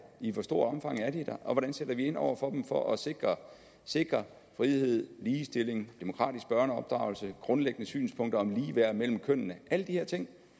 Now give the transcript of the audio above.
i hvor stort omfang er de der og hvordan sætter vi ind over for dem for at sikre sikre frihed ligestilling demokratisk børneopdragelse grundlæggende synspunkter om ligeværd mellem kønnene alle de her ting